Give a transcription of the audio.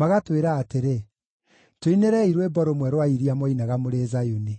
magatwĩra atĩrĩ, “Tũinĩrei rwĩmbo rũmwe rwa iria mwainaga mũrĩ Zayuni!”